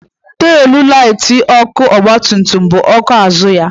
Teelụ laiti ọgba tum tum bụ ọkụ azụ ya.